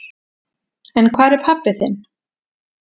En hvar er pabbi þinn?